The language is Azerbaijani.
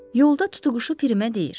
Yolda tutquşu Pirimə deyir: